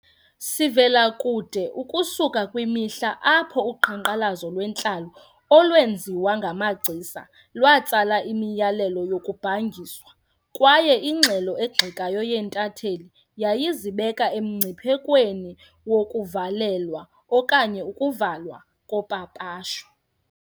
Sivela kude ukusuka kwimihla apho uqhankqalazo lwentlalo olwenziwa ngamagcisa lwatsala imiyalelo yokubhangiswa, kwaye ingxelo egxekayo yeentatheli yayizibeka emngciphekweni wokuvalelwa okanye ukuvalwa kopapasho.